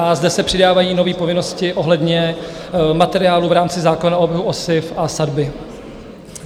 A zde se přidávají nové povinnosti ohledně materiálu v rámci zákona o oběhu osiv a sadby.